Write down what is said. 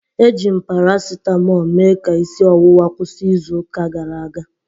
Eji m paracetmol mee ka isi ọwụwa kwụsị izu ụka gara aga